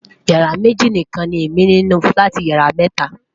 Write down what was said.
yàrá méjì nikan ni Emi ni nínú filati yàrá méta